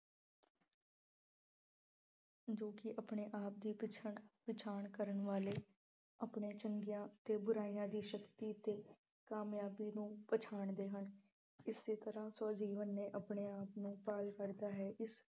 ਜੋ ਕਿ ਆਪਣੇ ਆਪ ਦੀ ਪਛਾਣ ਅਹ ਪਛਾਣ ਕਰਨ ਵਾਲੇ, ਆਪਣੇ ਚੰਗੀਆਂ ਅਤੇ ਬੁਰਾਈਆਂ ਦੀ ਸ਼ਕਤੀ ਤੇ ਕਾਮਯਾਬੀ ਨੂੰ ਪਛਾਣਦੇ ਹਨ। ਇਸੇ ਤਰ੍ਹਾਂ ਸਵੈ-ਜੀਵਨ ਨੇ ਆਪਣੇ ਆਪ ਨੂੰ ਭਾਲ ਕਰਦਾ ਹੈ। ਇਸ